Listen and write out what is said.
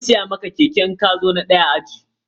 Zan siya maka keke idan ka zo na daya a ajinku.